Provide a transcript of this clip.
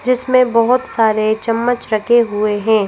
जिसमें बहुत सारे चम्मच रखे हुए हैं।